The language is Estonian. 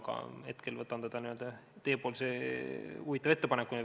Aga hetkel võtan seda teie huvitava ettepanekuna.